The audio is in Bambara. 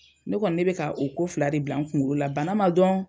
ne kɔni ne bɛ ka o ko fila de bila n kuŋolo la bana ma dɔn